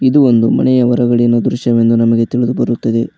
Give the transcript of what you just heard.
ಇದು ಒಂದು ಮನೆಯ ಹೊರಗಣದ ದೃಶ್ಯ ಎಂದು ನಮಗೆ ತಿಳಿದು ಬರುತ್ತದೆ.